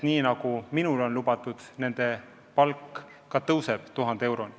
Minule on lubatud, et nende palk tõuseb 1000 euroni.